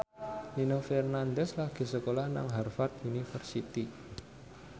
Nino Fernandez lagi sekolah nang Harvard university